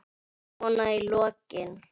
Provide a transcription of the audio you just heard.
Svona í lokin.